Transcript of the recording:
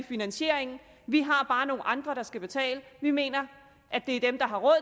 finansieringen vi har bare nogle andre der skal betale vi mener at det er dem der har råd